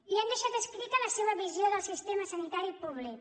i han deixat escrita la seva visió del sistema sanitari públic